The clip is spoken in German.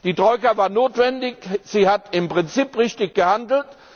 Die Troika war notwendig, sie hat im Prinzip richtig gehandelt.